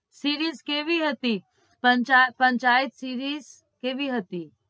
Series કેવી હતી Panchayat Panchayat series કેવી હતી?